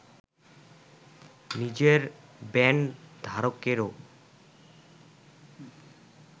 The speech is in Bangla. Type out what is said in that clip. নিজের ব্যান্ড ধারকেরও